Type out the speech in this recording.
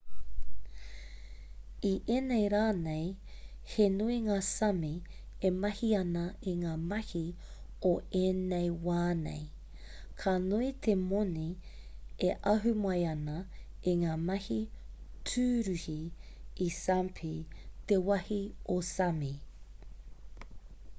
i ēnei rā nei he nui ngā sāmi e mahi ana i ngā mahi o ēnei wā nei ka nui te moni e ahu mai ana i ngā mahi tūruhi i sāpmi te wāhi o sāmi